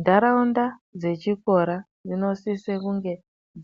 Ndaraunda dzechikora dzinosisa kunge